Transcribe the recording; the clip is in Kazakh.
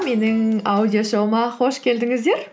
менің аудиошоуыма қош келдіңіздер